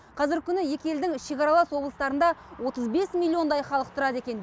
қазіргі күні екі елдің шекаралас облыстарында отыз бес миллиондай халық тұрады екен